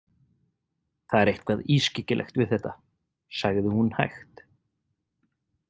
Það er eitthvað ískyggilegt við þetta, sagði hún hægt.